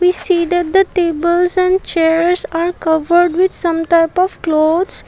we see that the tables and chairs are covered with some type of clothes.